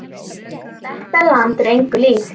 Þetta land er engu líkt.